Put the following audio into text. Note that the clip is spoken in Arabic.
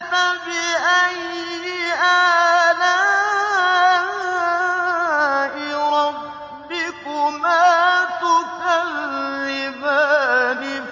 فَبِأَيِّ آلَاءِ رَبِّكُمَا تُكَذِّبَانِ